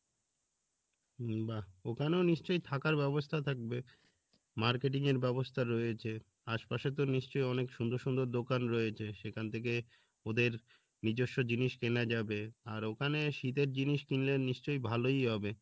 উম বাহ ওখানেও নিশ্চয় থাকার ব্যবস্থা থাকবে? marketing এর ব্যবস্থা রয়েছে আশপাশে তো নিশ্চয় অনেক সুন্দর সুন্দর দোকান রয়েছে সেখান থেকে ওদের নিজস্ব জিনিস কেনা যাবে আর ওখানে শীতের জিনিস কিনলে নিশ্চয় ভালোই হবে